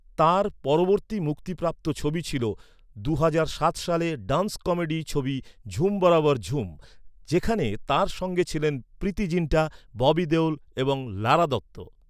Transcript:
তাঁর পরবর্তী মুক্তিপ্রাপ্ত ছবি ছিল দুহাজার দুই সালে ড্যান্স কমেডি ছবি ঝুম বরাবর ঝুম, যেখানে তাঁর সঙ্গে ছিলেন প্রীতি জিন্টা, ববি দেওল এবং লারা দত্ত।